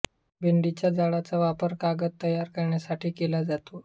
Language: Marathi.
भेंडीच्या झाडाचा वापर कागद तयार करण्यासाठी केला जातो